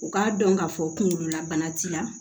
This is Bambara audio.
U k'a dɔn k'a fɔ kunkolola bana t'i la